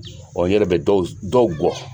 n yɛrɛ bɛ dɔw dɔw gɔ.